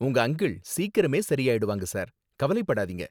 உங்க அங்கிள் சீக்கிரமே சரி ஆயிடுவாங்க, சார். கவலைப்படாதீங்க.